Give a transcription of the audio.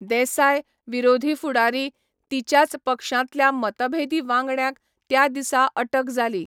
देसाय, विरोधी फुडारी, तिच्याच पक्षांतल्या मतभेदी वांगड्यांक त्या दिसा अटक जाली.